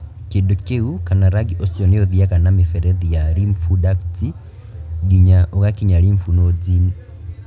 Kĩndũ kĩu kana rangi ũcio nĩ ũthiaga na mĩberethi ya lymph ducts nginya ũgakinya lymph nodes.